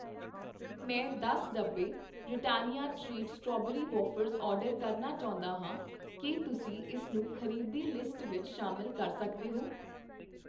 ਮੈਂ ਦਸ ਡੱਬੇ Britannia treat strawberry wafers order ਕਰਨਾ ਚਾਹੁੰਦਾ ਹਾਂ, ਕੀ ਤੁਸੀਂ ਇਸ ਨੂੰ ਖ਼ਰੀਦੀ ਲਿਸਟ ਵਿੱਚ ਸ਼ਾਮਿਲ ਕਰ ਸਕਦੇ ਹੋ ?